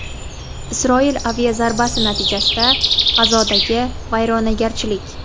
Isroil aviazarbasi natijasida G‘azodagi vayronagarchilik.